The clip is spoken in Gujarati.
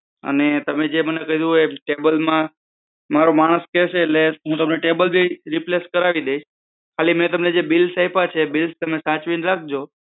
અને તમે જે મને કહ્યું એ table માં મારો માણસ કેસે એટલે હું તમને table ભી replace કરાવી દઇસ. ખાલી મેં તમને જે bills આયપ્યા છે તે bills સાચવીને રાખજો.